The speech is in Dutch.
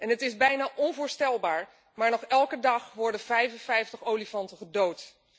Het is bijna onvoorstelbaar, maar nog elke dag worden 55 olifanten gedood.